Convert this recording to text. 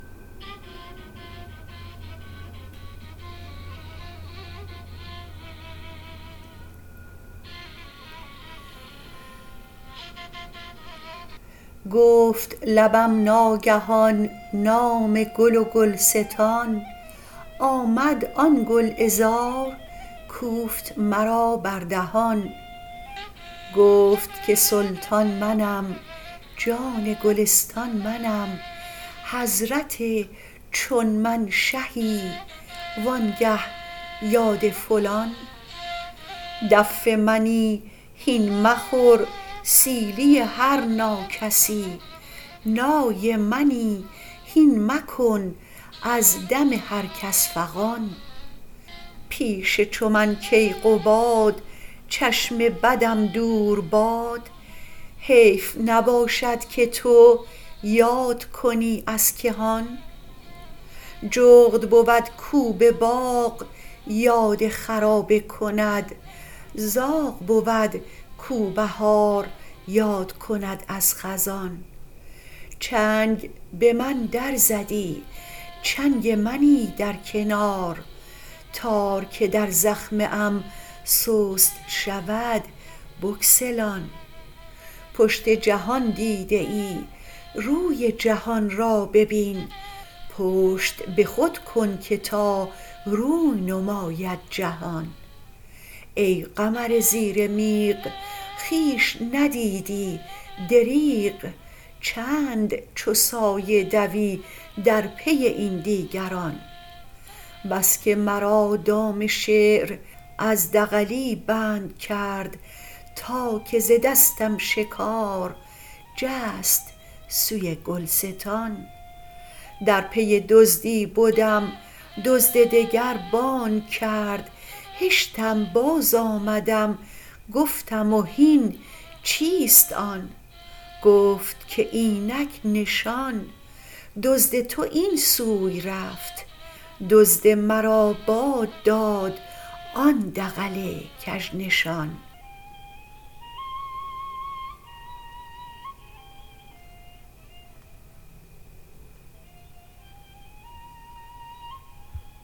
گفت لبم ناگهان نام گل و گلستان آمد آن گل عذار کوفت مرا بر دهان گفت که سلطان منم جان گلستان منم حضرت چون من شهی وآنگه یاد فلان دف منی هین مخور سیلی هر ناکسی نای منی هین مکن از دم هر کس فغان پیش چو من کیقباد چشم بدم دور باد حیف نباشد که تو یاد کنی از کهان جغد بود کو به باغ یاد خرابه کند زاغ بود کو بهار یاد کند از خزان چنگ به من در زدی چنگ منی در کنار تار که در زخمه ام سست شود بگسلان پشت جهان دیده ای روی جهان را ببین پشت به خود کن که تا روی نماید جهان ای قمر زیر میغ خویش ندیدی دریغ چند چو سایه دوی در پی این دیگران بس که مرا دام شعر از دغلی بند کرد تا که ز دستم شکار جست سوی گلستان در پی دزدی بدم دزد دگر بانگ کرد هشتم بازآمدم گفتم و هین چیست آن گفت که اینک نشان دزد تو این سوی رفت دزد مرا باد داد آن دغل کژنشان